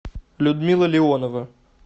людмила леонова